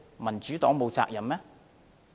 民主黨沒有責任嗎？